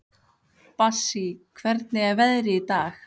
Bassí, hvernig er veðrið í dag?